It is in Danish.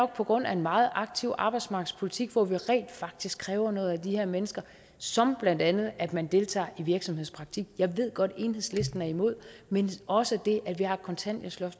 på grund af en meget aktiv arbejdsmarkedspolitik hvor vi rent faktisk kræver noget af de her mennesker blandt andet at man deltager i virksomhedspraktik jeg ved godt at enhedslisten er imod men også det at vi har et kontanthjælpsloft